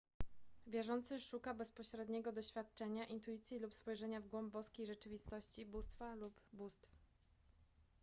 wierzący szuka bezpośredniego doświadczenia intuicji lub spojrzenia w głąb boskiej rzeczywistości / bóstwa lub bóstw